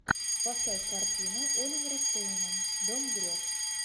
поставь картину оливера стоуна дом грез